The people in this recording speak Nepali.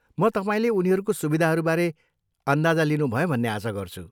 म तपाईँले उनीहरूको सुविधाहरूबारे अन्दाजा लिनुभयो भन्ने आशा गर्छु।